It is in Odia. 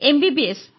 ଏମବିବିଏସ୍